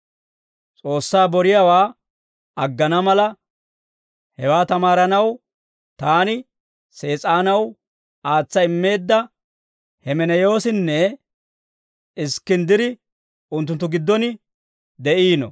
S'oossaa boriyaawaa aggana mala, hewaa tamaaranaw taani Sees'aanaw aatsa immeedda Hemeneyoosinne Iskkinddiri unttunttu giddon de'iino.